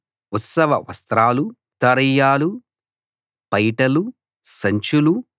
ఉత్సవ వస్త్రాలూ ఉత్తరీయాలూ పైటలూ సంచులూ